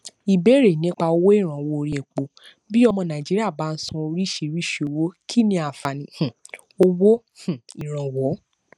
ìbérè nípa owó ìrànwọ orí epo bí ọmọ nàìjíríà bá ń ṣan oríṣiríṣi owó kí ni ààfàní um owó um ìrànwọ